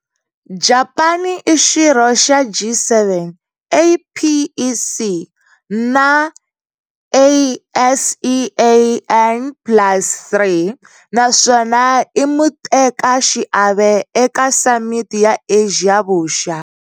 Japani i xirho xa G7, APEC, na" ASEAN Plus Three", naswona i mutekaxiave eka Samiti ya Asia Vuxa.